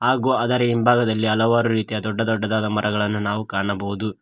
ಹಾಗೂ ಅದರ ಹಿಂಭಾಗದಲ್ಲಿ ಹಲವಾರು ರೀತಿಯ ದೊಡ್ಡ ದೊಡ್ಡದಾದ ಮರಗಳನ್ನು ನಾವು ಕಾಣಬಹುದು.